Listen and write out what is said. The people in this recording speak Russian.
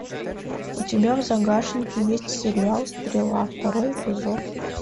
у тебя в загашнике есть сериал стрела второй эпизод